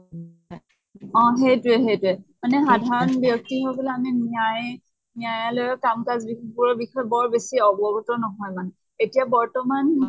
অ সেইতোয়ে, সেইতোয়ে। মানে সাধাৰণ ব্য়্ক্তি সকলে আমি ন্য়ায়ি ন্য়ায়ালয়ৰ কাম কাজৰ বিষয়ে বৰ বেচি অৱগত নহয় মানে। এতিয়া বৰ্তমান